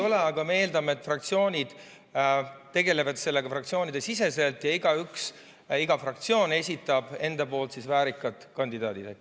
Ei ole, aga me eeldame, et fraktsioonid tegelevad sellega igaüks oma fraktsiooni sees ja iga fraktsioon esitab enda väärikad kandidaadid.